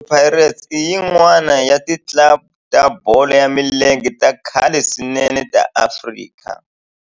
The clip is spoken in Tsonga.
Orlando Pirates i yin'wana ya ti club ta bolo ya milenge ta khale swinene ta Afrika